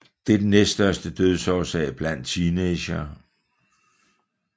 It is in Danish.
Det er den næststørste dødsårsag blandt teenagere